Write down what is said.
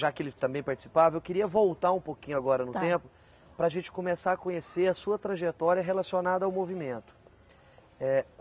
Já que ele também participava, eu queria voltar um pouquinho agora no tempo para a gente começar a conhecer a sua trajetória relacionada ao movimento. É